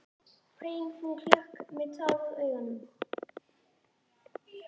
hrein hún klökk með tár í augum.